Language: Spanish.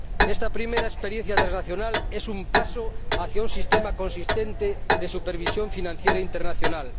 Esta primera experiencia transnacional es un paso hacia un sistema consistente de supervisión financiera internacional.